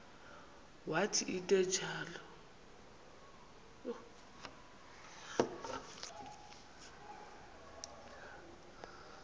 wathi into enjalo